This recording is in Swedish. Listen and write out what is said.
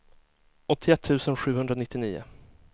åttioett tusen sjuhundranittionio